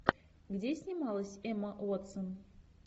где снималась эмма уотсон